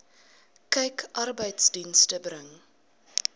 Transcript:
kyk arbeidsdienste bring